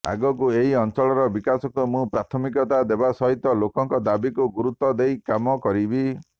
ଆଗକୁ ଏହି ଅଞ୍ଚଳର ବିକାଶକୁ ମୁଁ ପ୍ରାଥମିକତା ଦେବା ସହିତ ଲୋକଙ୍କ ଦାବିକୁ ଗୁରୁତ୍ବ ଦେଇ କାମ କରିବି